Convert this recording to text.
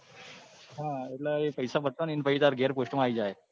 હા એટલે એ પૈસા ભારવજે ને ઘેર post માં આવી જાહે.